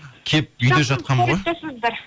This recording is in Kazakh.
келіп үйде жатқанмын ғой тосыңыздар